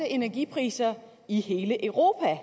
energipriser i hele europa